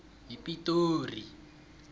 yipitori